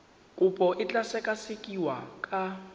kopo e tla sekasekiwa ka